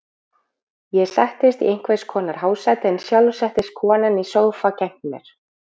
Ég settist í einhvers konar hásæti en sjálf settist konan í sófa gegnt mér.